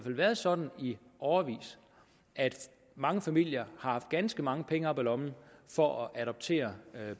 været sådan i årevis at mange familier har haft ganske mange penge op af lommen for at kunne adoptere